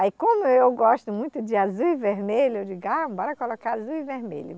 Aí, como eu gosto muito de azul e vermelho, eu digo, ah, bora colocar azul e vermelho.